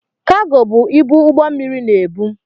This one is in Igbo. Kaago bụ ibu ụgbọ mmịrị na-ebu.